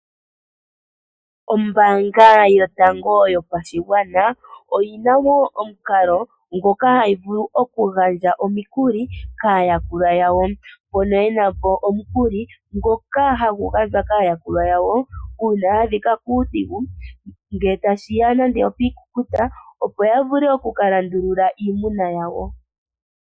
Ombanga yotango yopashigwana oyina wo omiikalo moka hayi vulu oku gandja omikuli kaayakulwa yawo. Ngoka hagu gandjwa kaayakulwa yawo una ya adhika kuudhingu. Ngele tashiya nande okiikukuta opo ya vule oku ka landulula iimuna yawo.